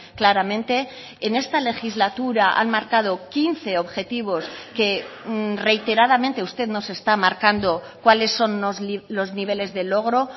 claramente en esta legislatura han marcado quince objetivos que reiteradamente usted nos está marcando cuáles son los niveles de logro